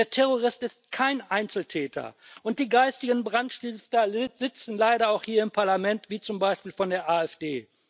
Der Terrorist ist kein Einzeltäter, und die geistigen Brandstifter sitzen leider auch hier im Parlament, wie zum Beispiel von der AfD.